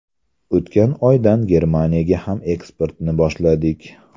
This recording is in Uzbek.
O‘tgan oydan Germaniyaga ham eksportni boshladik.